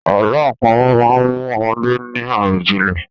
Àlọ́ àpamọ̀ máa mú ọmọdé ní àròjìnlẹ̀.